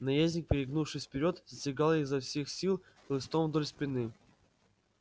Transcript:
наездник перегнувшись вперёд стегал его изо всех сил хлыстом вдоль спины